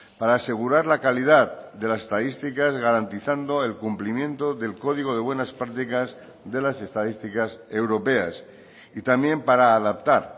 para asegurar la calidad de las estadísticas garantizando el cumplimiento del código de buenas prácticas de las estadísticas europeas y también para adaptar